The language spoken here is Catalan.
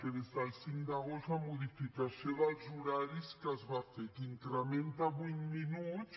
des del cinc d’agost la modificació dels horaris que es va fer que incrementa vuit minuts